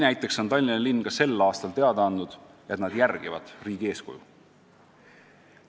Näiteks on Tallinna linn ka sel aastal teada andnud, et nad järgivad riigi eeskuju.